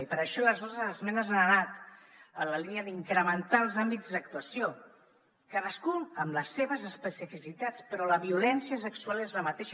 i per això les nostres esmenes han anat en la línia d’incrementar els àmbits d’actuació cadascun amb les seves especificitats però la violència sexual és la mateixa